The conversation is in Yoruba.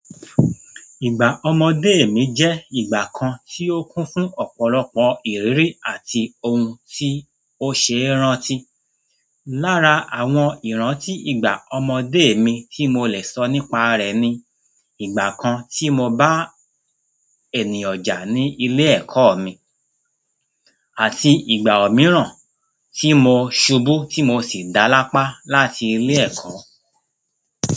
Ìgbà ọmọdé mi jẹ́ ìgbà kan tí ó kún fún ọ̀pọ̀lọpọ̀ ìrírí àti ohun tí ó ṣe rántí. Lára àwọn ìrántí ìgbà ọmọdé mi tí mo lè sọ nípa rẹ̀ ni ìgbà kan tí mo bá ènìyàn jà ní ilé ẹ̀kọ́ mi, àti ìgbà mìíràn tí mo ṣubú tí mo sì dá lápá láti ilé ẹ̀kọ́.